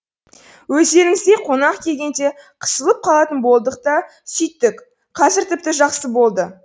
өздеріңіздей қонақ келгенде қысылып қалатын болдық та сөйттік қазір тіпті жақсы болды